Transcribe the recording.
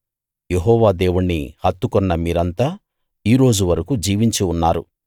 యెహోవా దేవుణ్ణి హత్తుకొన్న మీరంతా ఈ రోజు వరకూ జీవించి ఉన్నారు